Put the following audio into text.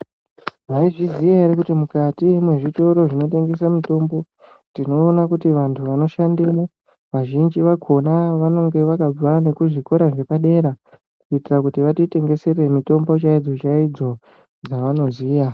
Maizviziya ere kuti mukati mwezvitoro zvinotengese mitombo, tinoona kuti vantu vanoshandemo ,vazhinji vakhona, vanonge vakabva kuzvikora zvepadera ,kuitira kuti vatitengesere mitombo chaidzo chaidzo, dzavanoziya.